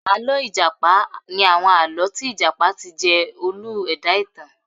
Àlọ́ ìjàpá ni àwọn àlọ́ tí ìjàpá ti jẹ́ olú ẹ̀dá-ìtàn